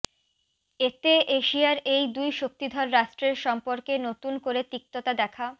এতে এশিয়ার এই দুই শক্তিধর রাষ্ট্রের সম্পর্কে নতুন করে তিক্ততা দেখা